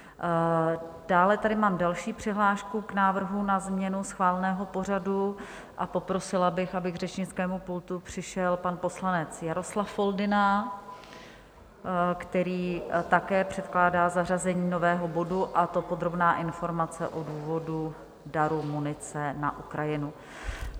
Dále tady mám další přihlášku k návrhu na změnu schváleného pořadu a poprosila bych, aby k řečnickému pultu přišel pan poslanec Jaroslav Foldyna, který také předkládá zařazení nového bodu, a to Podrobná informace o důvodu daru munice na Ukrajinu.